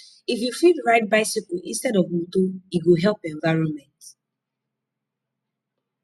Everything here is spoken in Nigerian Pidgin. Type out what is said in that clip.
if you fit ride bicycle instead of motor e go help environment